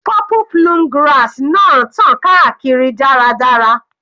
Purple plume grass náà tàn káàkiri dáradára.